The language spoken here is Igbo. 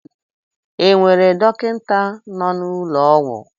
E nwere dọkịta nọ n'ụlọ ọgwụ?